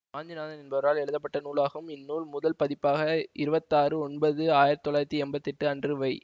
வாஞ்சிநாதன் என்பவரால் எழுதப்பட்ட நூலாகும் இந்நூல் முதல் பதிப்பாக இருபத்தி ஆறு ஒன்பது ஆயிரத்தி தொள்ளாயிரத்தி எம்பத்தி எட்டு அன்று வை